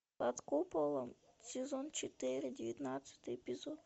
под куполом сезон четыре девятнадцатый эпизод